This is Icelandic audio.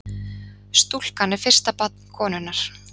Stúlkan er fyrsta barn konunnar